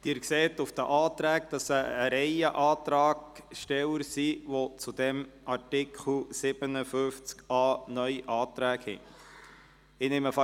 Sie sehen anhand der Anträge, dass es eine Reihe von Antragstellern gibt, die zu Artikel 57a (neu) Anträge gestellt haben.